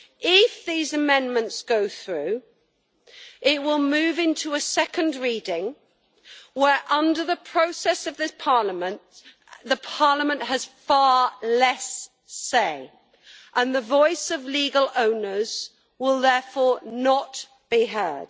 If these amendments go through, it will move into a second reading, where, under the process of this Parliament, Parliament has far less say, and the voice of legal owners will therefore not be heard.